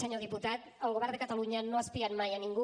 senyor diputat el govern de catalunya no ha espiat mai a ningú